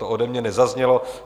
To ode mě nezaznělo.